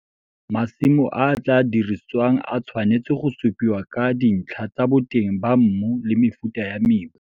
Masimo a a tlaa dirisiwang a tshwanetse go supiwa ka dintlha tsa boteng ba mmu le mefuta ya mebu.